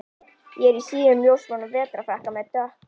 Ég er í síðum ljósbrúnum vetrarfrakka með dökk